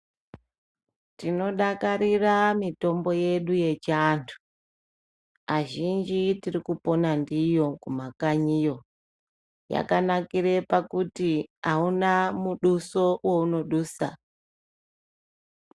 Tinodakarira mitombo yedu yechiantu, azhinji tirikupona ndiyo kumakanyi kweduyo. Yakanakire pakuti auna muduso weunodusa.